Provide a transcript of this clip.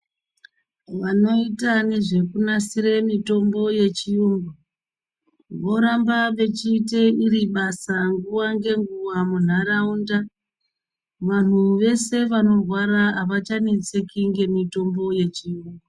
Vanoita nezvekunasira mitombo yechiyungu voramba vechiite iri basa nguwa ngenguwa munharaunda vanhu vese vanorwara avachanetseki nemitombo yechiyungu.